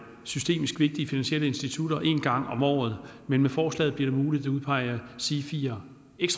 systemisk vigtige finansielle institutter en gang om året men med forslaget bliver det muligt at udpege sifier